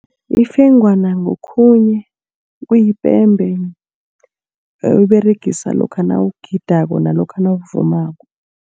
Ifengwana ngokhunye kuyipembe abayiberegisa lokha nawugidako namkha nawuvumako.